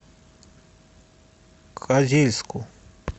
козельску